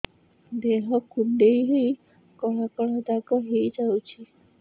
ଦେହ କୁଣ୍ଡେଇ ହେଇ କଳା କଳା ଦାଗ ହେଇଯାଉଛି